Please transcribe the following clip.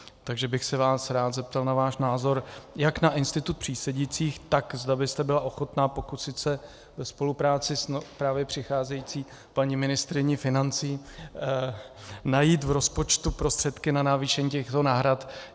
Takže bych se vás rád zeptal na váš názor jak na institut přísedících, tak zda byste byla ochotna pokusit se ve spolupráci s právě přicházející paní ministryní financí najít v rozpočtu prostředky na navýšení těchto náhrad.